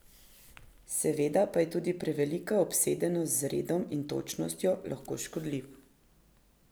Seveda pa je tudi prevelika obsedenost z redom in točnostjo lahko škodljiva.